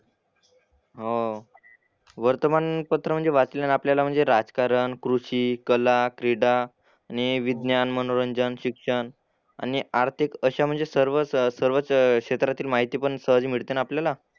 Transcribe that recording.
हो. वर्तमानपत्र म्हणजे वाचलं ना आपल्याला म्हणजे राजकारण, कृषी, कला, क्रीडा, आणि विज्ञान, मनोरंजन, शिक्षण आणि आर्थिक अशा म्हणजे सर्व सर्वच क्षेत्रातील माहिती पण सहज मिळते ना आपल्याला.